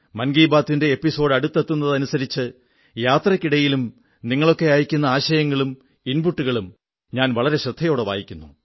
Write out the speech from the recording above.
മൻ കീബാത്തിന്റെ എപ്പിസോഡ് അടുത്തെത്തുന്നതനുസരിച്ച് യാത്രയ്ക്കിടയിലും നിങ്ങളൊക്കെ അയക്കുന്ന ആശയങ്ങളും ഇൻപുട്ടുകളം ഞാൻ വളരെ ശ്രദ്ധയോടെ വായിക്കുന്നു